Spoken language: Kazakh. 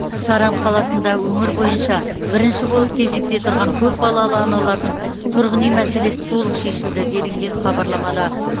саран қаласында өңір бойынша бірінші болып кезекте тұрған көп балалы аналардың тұрғын үй мәселесі толық шешілді делінген хабарламада